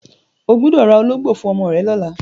O gbọ́dọ̀ ra ológbò fún ọmọ rẹ lọ́la!